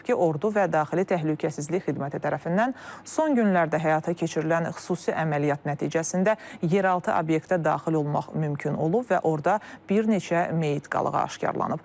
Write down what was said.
Bildirilib ki, ordu və daxili təhlükəsizlik xidməti tərəfindən son günlərdə həyata keçirilən xüsusi əməliyyat nəticəsində yeraltı obyektə daxil olmaq mümkün olub və orda bir neçə meyit qalığı aşkaralanıb.